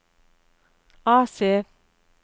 AC